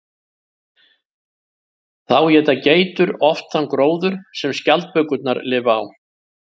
Þá éta geitur oft þann gróður sem skjaldbökurnar lifa á.